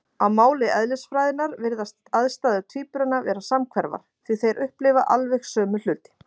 Á máli eðlisfræðinnar virðast aðstæður tvíburanna vera samhverfar, því þeir upplifa alveg sömu hluti.